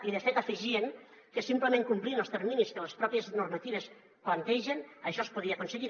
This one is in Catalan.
i de fet afegien que simplement complint els terminis que les pròpies normatives plantegen això es podia aconseguir